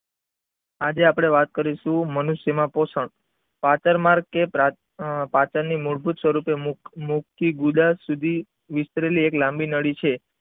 આજે આપણે વાત કરીશું મનુષ્ય માં પોષણ પાચન માર્ગ કે પાચન ની મૂળભૂત સ્વરૂપે મુમુખ થી ગુદા સુધી વિસ્તરેલી એક લાંબી નળી છે.